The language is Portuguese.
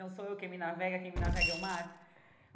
Não sou eu quem me navega, quem me navega é o mar.